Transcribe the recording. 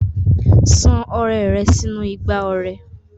San ọrẹ rẹ sínú igbá ọrẹ.